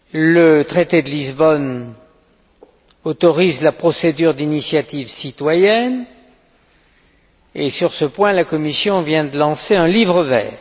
Le traité de Lisbonne autorise la procédure d'initiative citoyenne et, sur ce point, la Commission vient de lancer un livre vert.